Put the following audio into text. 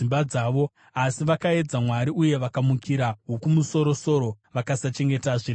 Asi vakaedza Mwari uye vakamukira Wokumusoro-soro; vakasachengeta zvirevo zvake.